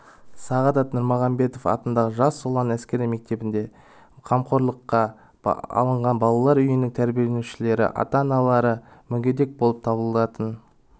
сағадат нұрмағамбетов атындағы жас ұлан әскери мектебінде қамқорлыққа алынған балалар үйінің тәрбиеленушілері ата-аналары мүгедек болып табылатын